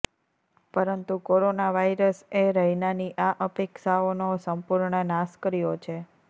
પરંતુ કોરોના વાયરસએ રૈનાની આ અપેક્ષાઓનો સંપૂર્ણ નાશ કર્યો છે